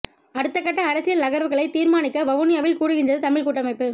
அடுத்த கட்ட அரசியல் நகர்வுகளை தீர்மானிக்க வவுனியாவில் கூடுகின்றது தமிழ் கூட்டமைப்பு